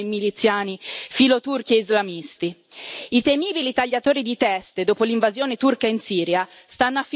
I temibili tagliatori di teste, dopo l'invasione turca in Siria stanno affilando le loro scimitarre davanti alle nostre porte.